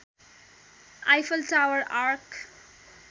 Eiffel tower arc